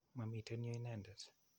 Mamiten yu inendet.